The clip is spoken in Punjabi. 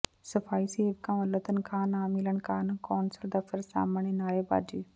ਸਫਾਈ ਸੇਵਕਾਂ ਵਲੋਂ ਤਨਖਾਹ ਨਾ ਮਿਲਣ ਕਾਰਨ ਕੌਾਸਲ ਦਫ਼ਤਰ ਸਾਹਮਣੇ ਨਾਅਰੇਬਾਜ਼ੀ